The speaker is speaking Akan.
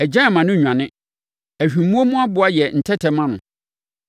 Agyan mma no nnwane; ahwimmoɔ mu aboa yɛ ntɛtɛ ma no.